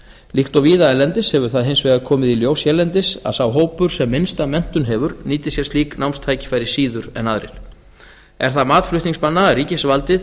líkt og víða erlendis hefur það hins vegar komið í ljós hérlendis að sá hópur sem minnsta menntun hefur nýtir sér slík námstækifæri síður en aðrir er það mat flutningsmanna að ríkisvaldið